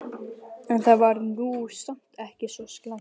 En það var nú samt ekki svo slæmt.